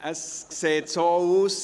– Es sieht so aus: